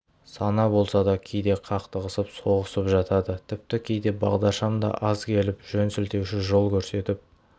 сана болса да кейде қақтығысып-соғысып жатады тіпті кейде бағдаршам да аз келіп жөнсілтеуші жол көрсетіп